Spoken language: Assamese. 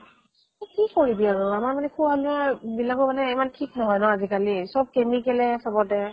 এ কি কৰিবি আৰু আমাৰ মানে খোৱা লোৱা বিলাকো মানে ইমানো ঠিক নহয় ন আজিকালি, চব chemical হে আজিকালি চবতে ।